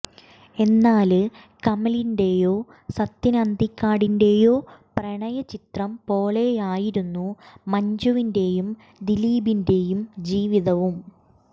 എന്നാല് കമലിന്റെയോ സത്യന് അന്തിക്കാടിന്റെയോ പ്രണയ ചിത്രം പോലെയായിരുന്നു മഞ്ജുവിന്റെയും ദിലീപിന്റെയും ജീവിതവും